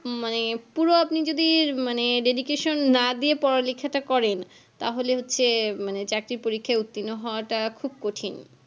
মানে পুরো আপনি যদি উম Dedication না দিয়া পড়ালেখাটা করেন তাহলে হচ্ছে চাকরির পরীক্ষায় উত্তীর্ণ হওয়াটা খুব কঠিন